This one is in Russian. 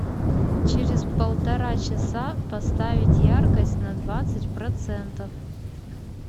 через полтора часа поставить яркость на двадцать процентов